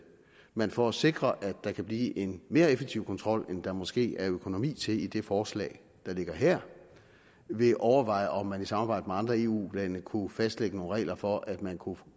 man for at sikre at der kan blive en mere effektiv kontrol end der måske er økonomi til i det forslag der ligger her vil overveje om man i samarbejde med andre eu lande kunne fastlægge nogle regler for at man kunne